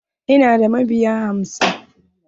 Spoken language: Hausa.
Ina da mabiya hamsin.